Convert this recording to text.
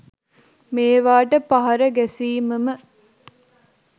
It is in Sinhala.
මේවාට පහර ගැසීමම